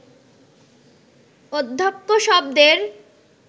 অধ্যক্ষ শব্দের